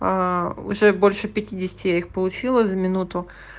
уже больше пятидесяти их получила за минуту